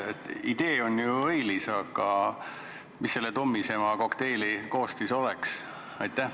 Idee on ju õilis, aga mis selle tummisema kokteili koostis oleks?